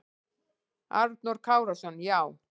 Arnór Kárason: Já.